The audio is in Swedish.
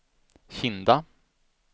Kinda